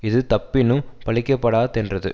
இது தப்பினும் பழிக்கப்படா தென்றது